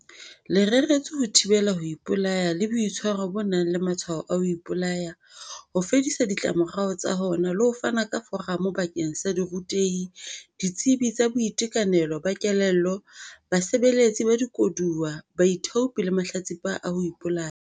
Le reretswe ho thibela ho ipolaya le boitshwaro bo nang le matshwao a ho ipolaya, ho fedisa ditlamorao tsa hona le ho fana ka foramo bakeng sa dirutehi, ditsebi tsa boitekanelo ba kelello, basebeletsi ba dikoduwa, baithaopi le mahlatsipa a ho ipolaya.